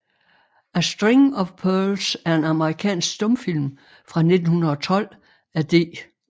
A String of Pearls er en amerikansk stumfilm fra 1912 af D